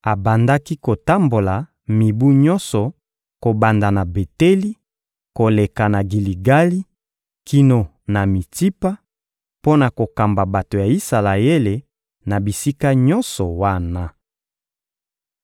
Abandaki kotambola mibu nyonso, kobanda na Beteli, koleka na Giligali kino na Mitsipa, mpo na kokamba bato ya Isalaele na bisika nyonso wana.